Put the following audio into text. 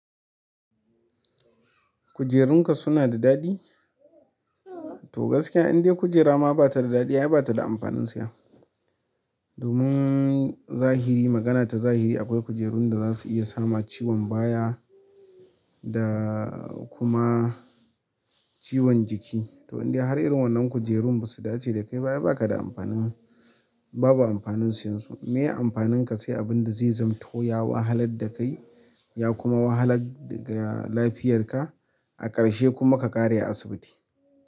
Kujerunka suna da daɗi? To gaskiya in dai kujera ma ba ta da daɗi, ai ba ta da amfanin siya. Domin zahiri, magana ta zahiri akwai kujerun da za su iya sama ciwon baya da kuma ciwon jiki. To in dai har irin wannan kujerun ba su dace da kai ba, ai ba ka da amfanin, babu amfanin siyan su. Meye amfanin ka sai abin da zai zamto ya wahalar da kai ya kuma wahalar da lafiyarka a ƙarshe kuma ka ƙare a asibiti.